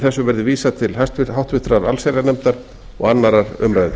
frumvarpinu verði vísað til háttvirtrar allsherjarnefndar og annarrar umræðu